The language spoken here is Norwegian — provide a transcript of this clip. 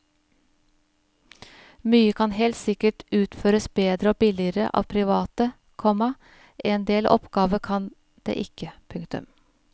Mye kan helt sikkert utføres bedre og billigere av private, komma en del oppgaver kan det ikke. punktum